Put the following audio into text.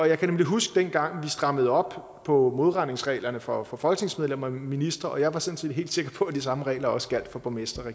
jeg kan huske dengang vi strammede op på modregningsreglerne for for folketingsmedlemmer og ministre jeg var sådan set helt sikker på at de samme regler også gjaldt for borgmestre og